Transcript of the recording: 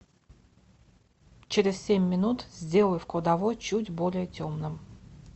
через семь минут сделай в кладовой чуть более темным